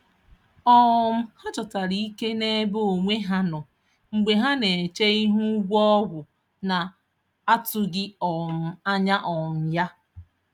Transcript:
um Ha chọtara ike n’ebe onwe ha nọ mgbe ha na-eche ihu ụgwọ ọgwụ na-atụghị um anya um ya.